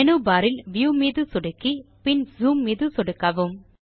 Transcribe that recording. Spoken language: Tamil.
மேனு பார் இல் வியூ மீது சொடுக்கி பின் ஜூம் மீது சொடுக்கவும்